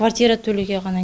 квартира төлеуге ғана